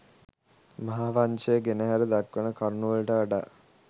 මහා වංශය ගෙනහැර දක්වන කරුණුවලට වඩා